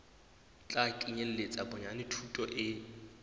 tla kenyeletsa bonyane thuto e